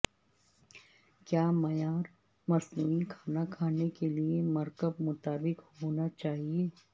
کیا معیار مصنوعی کھانا کھلانے کے لئے مرکب مطابق ہونا چاہیے